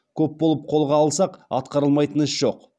көп болып қолға алсақ атқарылмайтын іс жоқ